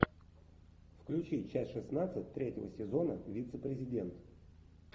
включи часть шестнадцать третьего сезона вице президент